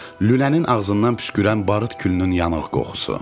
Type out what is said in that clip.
Lülənin ağzından püskürən barıt külünün yanıq qoxusu.